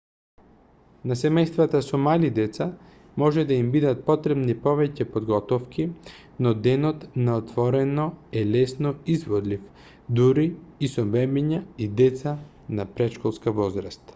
на семејствата со мали деца може да им бидат потребни повеќе подготовки но денот на отворено е лесно изводлив дури и со бебиња и деца на претшколска возраст